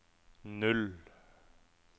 null